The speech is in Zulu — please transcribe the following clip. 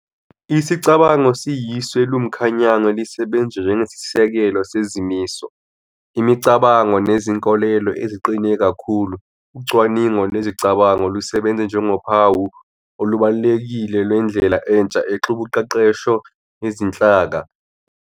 Isicabango siyisu eliwumkhanyango elisebenza njengesisekelo sezimiso, imicabango nezinkolelo eziqine kakhulu. Ucwaningo lwezicabango lusebenze njengophawu olubalulekile lwendlela entsha exubuqeqesho yezinhlaka, Inzululwazi yomqondo.